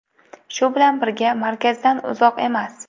Shu bilan birga, markazdan uzoq emas.